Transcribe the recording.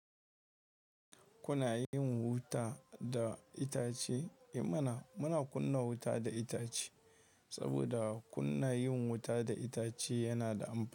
Kuna yin wuta da itace? Muna, muna kunna wuta da itace saboda kunna yin wuta da itace yana da amfani.